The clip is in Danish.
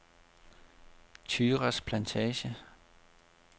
Thyras Plantage